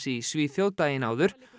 í Svíþjóð daginn áður